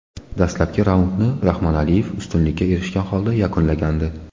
Dastlabki raundni Rahmonaliyev ustunlikka erishgan holda yakunlagandi.